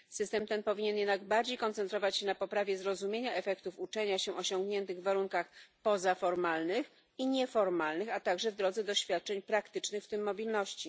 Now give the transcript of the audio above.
System ten powinien jednak w większym stopniu koncentrować się na poprawie zrozumienia efektów uczenia się osiągniętych w warunkach pozaformalnych i nieformalnych, a także w drodze doświadczeń praktycznych, w tym mobilności.